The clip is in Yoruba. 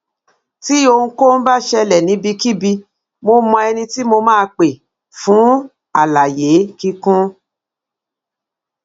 tí ohunkóhun bá ṣẹlẹ níbikíbi mo mọ ẹni tí mo máa pè fún àlàyé kíkún